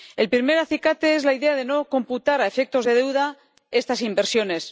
El primer acicate es la idea de no computar a efectos de deuda estas inversiones.